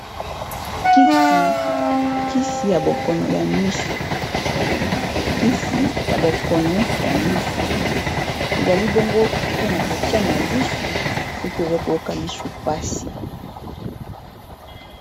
Kisi ya bokono ya misu kisi ya bokono ya misu, ezali bongo mpona kotia na lisu soki oza koyoka lisu mpasi.